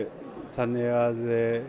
þannig að